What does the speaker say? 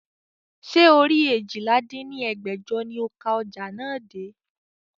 Ṣé orí eéjìlá dín ní ẹgbẹ́jọ ni ó ka ọjà náà dé?